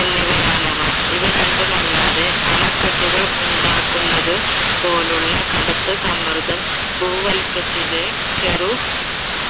എന്നിവയാണവ. ഇവ രണ്ടും അല്ലാതെ അണക്കെട്ടുകൾ ഉണ്ടാക്കുന്നത് പോലുള്ള കടുത്ത സമ്മർദം ഭൂവല്കത്തിലെ ചെറു